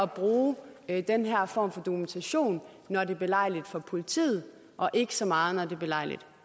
bruge den her form for dokumentation når det er belejligt for politiet og ikke så meget når det er belejligt